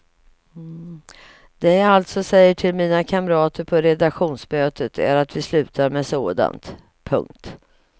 Det jag alltså säger till mina kamrater på redaktionsmötet är att vi slutar med sådant. punkt